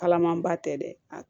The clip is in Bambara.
Kalaman ba tɛ dɛ